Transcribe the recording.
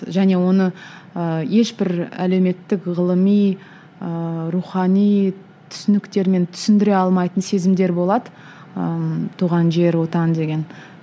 және оны ыыы ешбір әлеуметтік ғылыми ыыы рухани түсініктермен түсіндіре алмайтын сезімдер болады ыыы туған жер отан деген